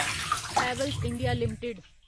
Havells India limited